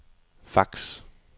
fax